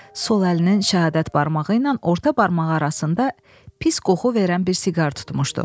Sol əlinin şəhadət barmağı ilə orta barmaq arasında pis qoxu verən bir siqar tutmuşdu.